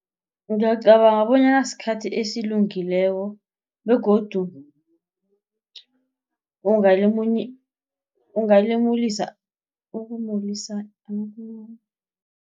Ngiyacabanga bonyana sikhathi esilungileko begodu